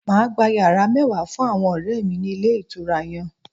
Mà á gba yàrá mẹ́wàá fún àwọn ọ̀rẹ̀ mi ní Ilé Ìtura yan